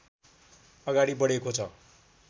अगाडि बढेको छ